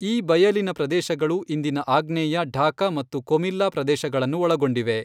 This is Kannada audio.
ಈ ಬಯಲಿನ ಪ್ರದೇಶಗಳು ಇಂದಿನ ಆಗ್ನೇಯ ಢಾಕಾ ಮತ್ತು ಕೊಮಿಲ್ಲಾ ಪ್ರದೇಶಗಳನ್ನು ಒಳಗೊಂಡಿವೆ.